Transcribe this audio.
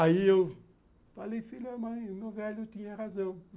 Aí eu falei, filho da mãe, o meu velho tinha razão.